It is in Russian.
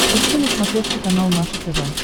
ищи на смотрешке канал наше тв